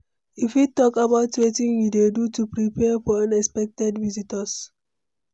you fit talk about wetin you dey do to prepare for unexpected visitors?